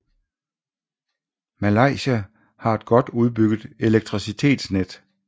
Malaysia har et godt udbygget elektricitetsnet